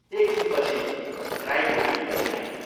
एक छिनपछि राई मुखेनी पनि आइन्।